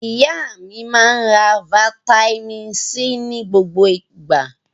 Ìyá mi máa ń ra fataímìn C ní gbogbo ìgbà.